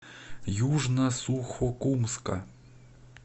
южно сухокумска